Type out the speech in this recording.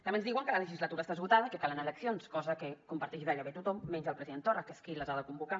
també ens diuen que la legislatura està esgotada i que calen eleccions cosa que comparteix gairebé tothom menys el president torra que és qui les ha de convocar